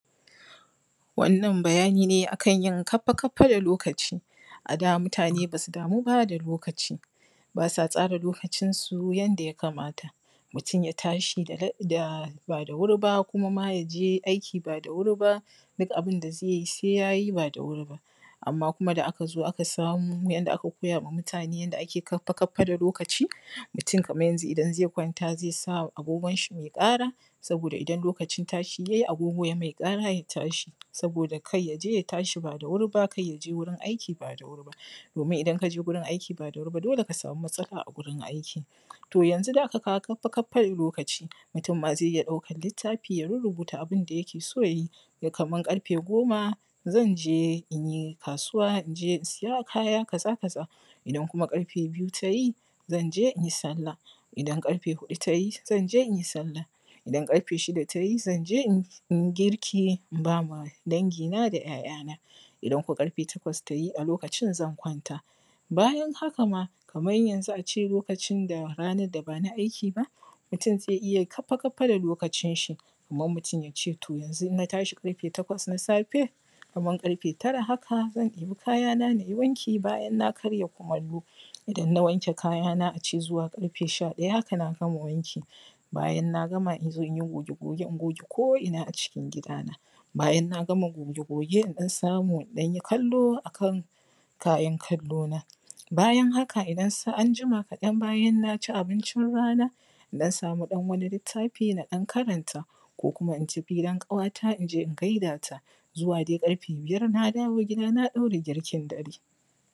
Wannan bayani ne a kan yin kafa-kafa da lokaci a da mutane basu damu ba da lokaci, basa tsara lokacin su yanda ya kamata mutum ya tashi ba da wuri ba kuma ma yaje aiki ba da wuri ba duk abunda zai yi sai ya yi ba da wuri amma kuma da aka zo aka samu yanda aka koyawa mutane yanda ake kafa-kafa da lokaci mutum kaman yanzu idan zai kwamta zai sa agogon shi mai ƙara saboda idan lokacin tashi ya yi agogo ya mai ƙara ya tashi saboda kada yaje ya tashi ba da wuri ba yaje wajen aiki ba da wuri domin idan kaje wajen aiki ba da wuri ba dole ka samu matsala a gurin aiki toh yanzun da aka kawo kafa-kafa da lokaci mutum ma zai iya ɗaukan littafi ya rurrubuta abunda da yake so ya yi kaman ƙarfe goma zan je inyi kasuwa inje in siya kaya kaza kaza idan kuma ƙarfe biyu tayi zanje in sallah idan ƙarfe huɗu tayi zan je inyi sallah in ƙarfe shida tayi zanje inyi girke in bawa dangi na da ‘ya’yana idan ko ƙarfe takwas tayi a lokacin zan kwanta bayan haka ma kaman yanzun a ce lokacin da ranan da bana aiki ba mutum zai iya kafa-kafa da lokacin shi kaman mutum yace to yanzun na tashi takwas na safe kaman tara haka zan ɗebi kayana nayi wanki bayan na karya kumallo idan na wanke kayana ace zuwa ƙarfe sha-ɗaya haka na gama wanki bayan na gama nazo nayi goge-goge in goge ko ina a cikin gidana bayan na gama goge-goge in ɗan samu in ɗanyi kallo a kan kayan kallo na bayan haka anjima kaɗan bayan na ci abincin rana in ɗan samu ɗan wani litttafi na ɗan karanta ko kuma in tafi gidan kawata inje in gaida ta zuwa dai ƙarfe biyar na dawo gida na ɗaura girkin dare.